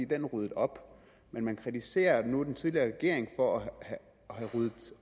den ryddede op men man kritiserer nu den tidligere regering for at have ryddet